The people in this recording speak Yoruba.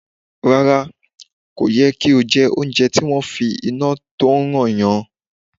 Rárá, kò yẹ kí o jẹ oúnjẹ tí wọ́n fi iná tí ó ń ràn yan.